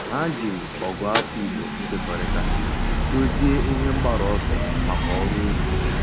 Há jìrì Ọ̀gụ́àfọ̀ Ị̀gbò nkekọrịta dòzìé ihe mgbaru ọsọ màkà ọ́rụ́ otu.